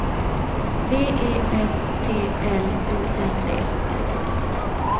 V E S T L U N D